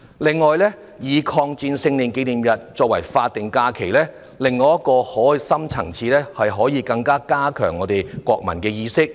此外，把抗日戰爭勝利紀念日列為法定假日還有另一深層意義，就是可以加強國民意識。